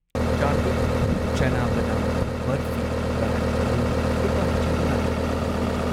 ꯆꯥꯔꯚꯤꯛ ꯆꯥꯅꯥ ꯕꯥꯗꯥꯝ ꯕꯔꯐꯤ ꯄ꯭ꯔꯗꯛ ꯑꯗꯨ ꯂꯨꯄꯥ ꯆꯥꯝꯃꯉꯥꯒꯤ ꯂꯩꯒꯗ꯭ꯔꯥ?